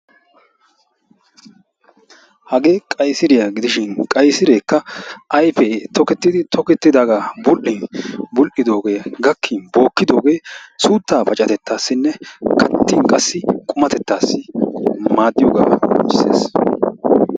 hage qayisiriyaa gidishin, qayisireekka ayfe tooketidi tooketidaaga bul''in bul''idooge gakin bookidoge suutta pacatettassinne kattin qumatettaassi maaddees.